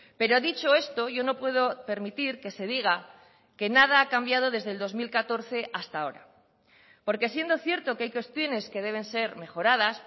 pero dicho esto yo no puedo permitir que se diga que nada ha cambiado desde el dos mil catorce hasta ahora porque siendo cierto que hay cuestiones que deben ser mejoradas